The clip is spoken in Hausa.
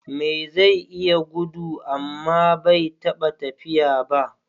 Me zai iya gudu amma bai taɓa tafiya ba?